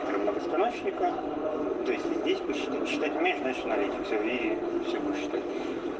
читать местность аналитика и всего что